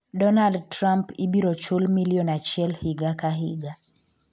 Donald Trump ibiro chul milion achiel higa ka higa